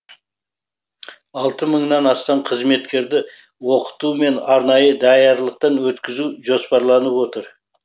алты мыңнан астам қызметкерді оқыту мен арнайы даярлықтан өткізу жоспарланып отыр